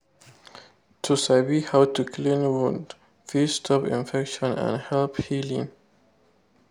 to sabi how to clean wound fit stop infection and help healing.